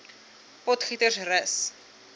potgietersrus